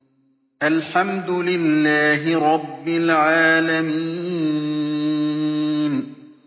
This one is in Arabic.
الْحَمْدُ لِلَّهِ رَبِّ الْعَالَمِينَ